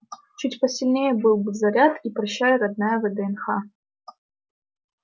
чуть посильнее был бы заряд и прощай родная вднх